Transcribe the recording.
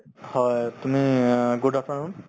হয়, তুমি অ good afternoon